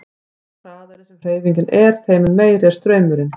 Því hraðari sem hreyfingin er þeim mun meiri er straumurinn.